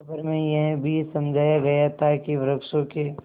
खबर में यह भी समझाया गया था कि वृक्षों के